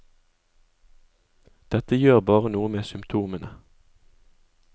Dette gjør bare noe med symptomene.